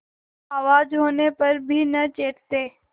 आवाज होने पर भी न चेतते